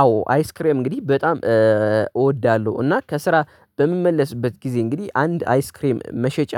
አዎ አይስክሬም እንግዲህ በጣም እወዳለሁ እና ከስራ በምመለስበት ጊዜ እንግዲህ አንድ አይስክሬም መሸጫ